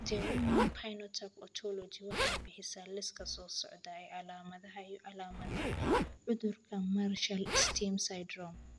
The Human Phenotype Ontology waxay bixisaa liiska soo socda ee calaamadaha iyo calaamadaha cudurka Marshall Smith syndrome.